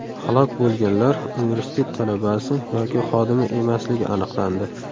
Halok bo‘lganlar universitet talabasi yoki xodimi emasligi aniqlandi.